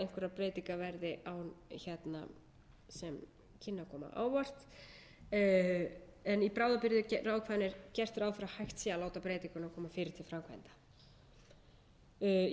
eða einhverjar breytingar verði sem kynnu að koma en í bráðabirgðaákvæðinu er gert ráð fyrir að hægt sé að láta breytinguna koma fyrr til framkvæmda í